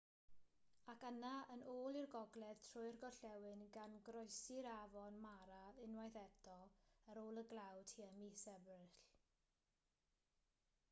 ac yna yn ôl i'r gogledd trwy'r gorllewin gan groesi'r afon mara unwaith eto ar ôl y glaw tua mis ebrill